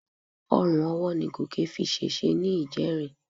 Orun ọwọ́ ni Gòkè fi ṣèṣe ní ìjẹrin.